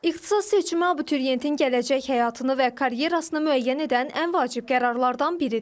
İxtisas seçimi abituriyentin gələcək həyatını və karyerasını müəyyən edən ən vacib qərarlardan biridir.